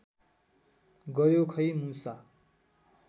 गयो खै मुसा